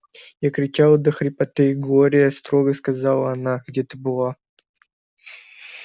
я кричала до хрипоты глория строго сказала она где ты была